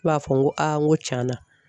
b'a fɔ n ko n ko canna